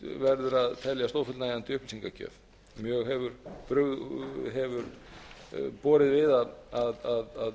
verður að teljast ófullnægjandi upplýsingagjöf mjög hefur borið við að